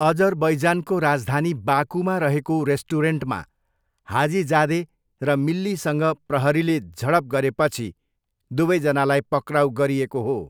अजरबैजानको राजधानी बाकूमा रहेको रेस्टुरेन्टमा हाजिजादे र मिल्लीसँग प्रहरीले झडप गरेपछि दुवैजनालाई पक्राउ गरिएको हो।